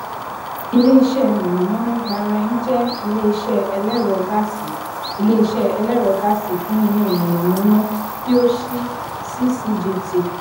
ileiṣẹ iná mọnamọná gbarain jẹ ileiṣẹ ẹlẹrọ gáàsì ileiṣẹ ẹlẹrọ gáàsì fún iná mọnamọná ti o ṣii ccgt